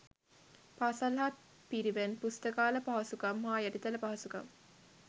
පාසල් හා පිරිවෙන් පුස්තකාල පහසුකම් හා යටිතල පහසුකම්